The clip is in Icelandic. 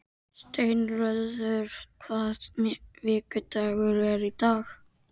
Steinröður, hvaða vikudagur er í dag?